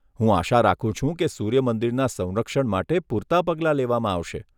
હું આશા રાખું છું કે સૂર્ય મંદિરના સંરક્ષણ માટે પૂરતા પગલાં લેવામાં આવશે.